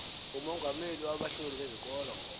umongameli wabahloli bezikolo